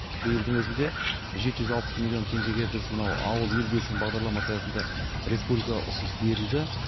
биылдың өзінде жеті жүз алпыс миллион теңгеге біз мынау ауыл ел бесігім бағдарламасы аясында республикаға ұсыныс берілді